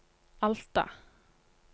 Alta